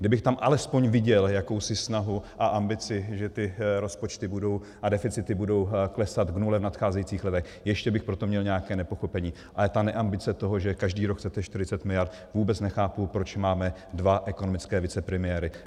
Kdybych tam alespoň viděl jakousi snahu a ambici, že ty rozpočty a deficity budou klesat k nule v nadcházejících letech, ještě bych pro to měl nějaké nepochopení, ale ta neambice toho, že každý rok chcete 40 miliard - vůbec nechápu, proč máme dva ekonomické vicepremiéry.